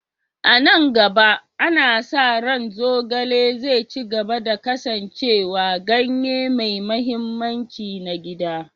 A nan gaba, ana sa ranczogale zai ci gaba da kasancewa ganye mai mahimmanci na gida.